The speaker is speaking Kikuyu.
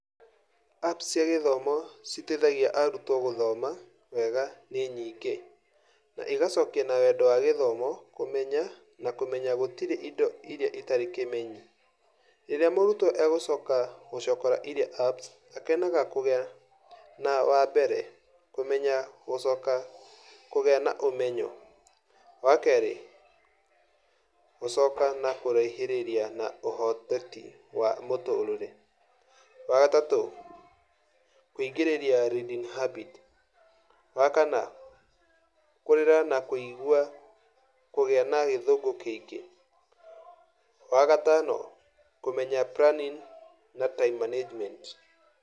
Apps cia githomo citeithagia arutwo gũthoma wega nĩnyingĩ, na igacokia na wendo wa gĩthomo kũmenya na kũmenya gũtirĩ indo iria citarĩ kĩmenyi. Rĩrĩa mũrutwo agũcoka gũcokora iria apps, akenaga kũgĩa na, wambere, kũmenya gũcoka kũgĩa na ũmenyo. Wakerĩ, gũcoka na kũraihĩrĩria na ũhoteti wa mũtũrĩre. Wagatatũ, kũingĩrĩria reading habits. Wakana, kũrera na kũigua kũgĩa na gĩthũngũ kĩingĩ. Wagatano, kũmenya planning na time management.